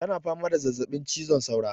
Ta na fama da zazzaɓin cizon saura